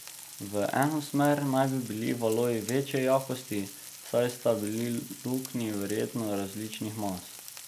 V eno smer naj bi bili valovi večje jakosti, saj sta bili luknji verjetno različnih mas.